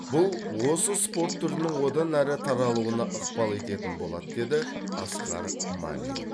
бұл осы спорт түрінің одан әрі таралуына ықпал ететін болады деді асқар мамин